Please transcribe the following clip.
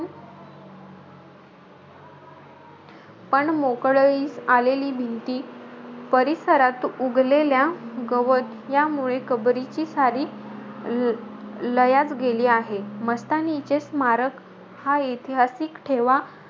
पण मोकलळीस आलेली भिंती, परिसरात उगलेल्या गवत, यामुळे कबरीची सारी ल लयाच गेली आहे. मस्तानीचे स्मारक हा इतिहासीक ठेवा,